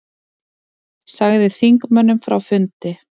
Sagði þingmönnum frá fundi